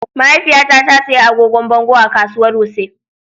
Mahaifiyata ta sayi agogon bango a kasuwar Wuse.